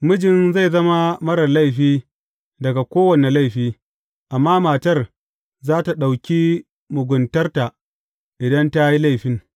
Mijin zai zama marar laifi daga kowane laifi, amma matar za tă ɗauki muguntarta, idan ta yi laifin.